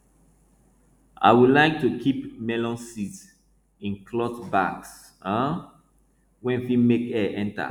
i wou like to keep melon seeds in cloth bags um wey fit make air enter